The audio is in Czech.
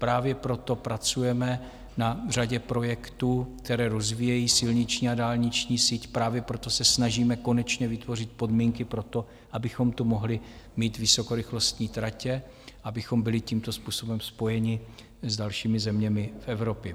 Právě proto pracujeme na řadě projektů, které rozvíjejí silniční a dálniční síť, právě proto se snažíme konečně vytvořit podmínky pro to, abychom tu mohli mít vysokorychlostní tratě, abychom byli tímto způsobem spojeni s dalšími zeměmi v Evropě.